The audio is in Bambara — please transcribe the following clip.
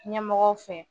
Ɲɛmɔgɔw fɛ